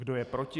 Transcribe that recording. Kdo je proti?